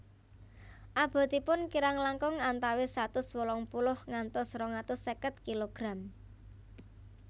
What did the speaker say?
Abotipun kirang langkung antawis satus wolung puluh ngantos rong atus seket kilogram